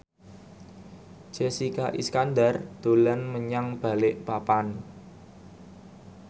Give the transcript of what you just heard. Jessica Iskandar dolan menyang Balikpapan